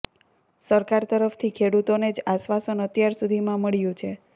સરકાર તરફથી ખેડૂતોને જ આશ્વાસન અત્યાર સુધીમાં મળ્યું છે